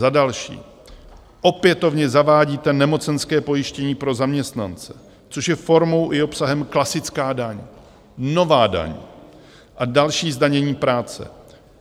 Za další, opětovně zavádíte nemocenské pojištění pro zaměstnance, což je formou i obsahem klasická daň, nová daň a další zdanění práce.